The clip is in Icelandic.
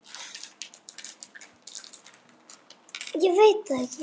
Karen: Hver er það?